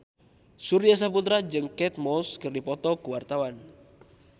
Surya Saputra jeung Kate Moss keur dipoto ku wartawan